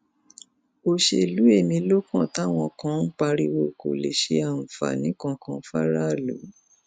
òṣèlú ẹmí ló kàn táwọn kan ń pariwo kó lè ṣe àǹfààní kankan fáráàlú